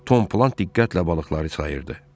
Tom Plat diqqətlə balıqları sayırdı.